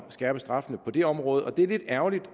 skærpe straffene på det område og det er lidt ærgerligt